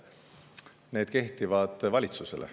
Need kehtivad valitsusele.